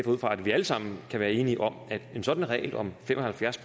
ud fra at vi alle sammen kan være enige om at sådan en regel om fem og halvfjerds